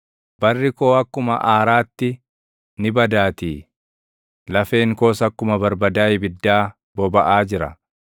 Barri koo akkuma aaraatti ni badaatii; lafeen koos akkuma barbadaa ibiddaa bobaʼaa jira.